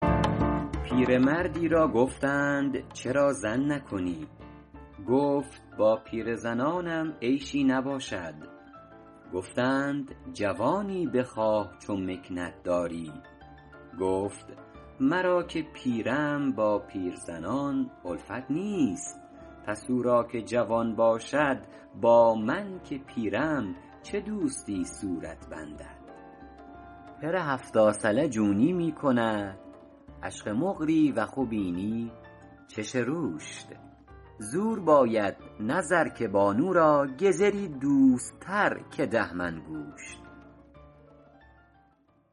پیرمرد ی را گفتند چرا زن نکنی گفت با پیرزنانم عیشی نباشد گفتند جوانی بخواه چو مکنت داری گفت مرا که پیرم با پیرزنان الفت نیست پس او را که جوان باشد با من که پیرم چه دوستی صورت بندد پر هفتا ثله جونی می کند عشغ مقری و خی بنی چش روشت زور باید نه زر که بانو را گزر ی دوست تر که ده من گوشت